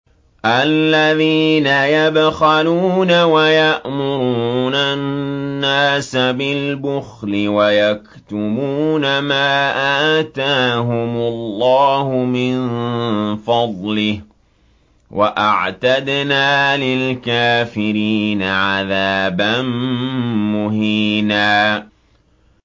الَّذِينَ يَبْخَلُونَ وَيَأْمُرُونَ النَّاسَ بِالْبُخْلِ وَيَكْتُمُونَ مَا آتَاهُمُ اللَّهُ مِن فَضْلِهِ ۗ وَأَعْتَدْنَا لِلْكَافِرِينَ عَذَابًا مُّهِينًا